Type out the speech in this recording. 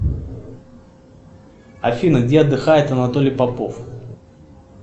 афина где отдыхает анатолий попов